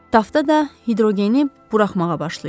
Tafta da hidrogeni buraxmağa başlayıb.